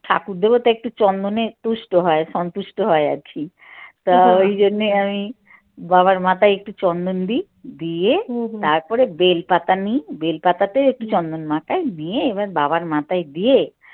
ঠাকুর দেবতা একটু চন্দনে তুষ্ট হয় সন্তুষ্ট হয় আরকি তা ওই জন্যে আমি বাবার মাথায় একটু চন্দন দেই দিয়ে তারপরে বেল পাতা নিই বেল পাতাতে একটু চন্দন মাখাই নিয়ে এবার বাবার মাথায় দিয়ে